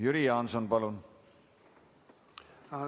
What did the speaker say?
Jüri Jaanson, palun!